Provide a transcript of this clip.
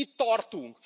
Itt tartunk!